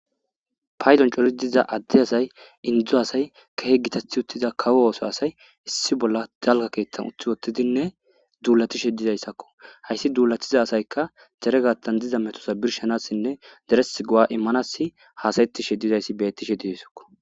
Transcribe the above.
Paydon coli diza adde asay indzu asay kahe gitathi uttiza kawo ooso asay issi bolla dalka keethtan uththi wottidinne duulatishe dizayssakko hayssi duulatiza asayka zeregattan diza metosa birshanassinne deres gowa immanass haasayettishe dizayssi bettishe didisako.